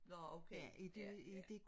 Nå okay ja ja